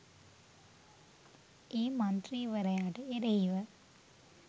ඒ මන්ත්‍රීවරයාට එරෙහිව